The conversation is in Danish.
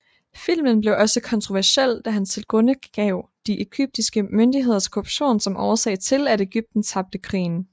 Filmen blev også kontroversiel da han tilgrundegav de egyptiske myndigheders korruption som årsag til at Egypten tabte krigen